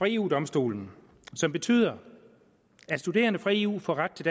eu domstolen som betyder at studerende fra eu får ret til